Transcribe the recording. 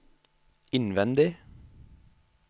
innvendig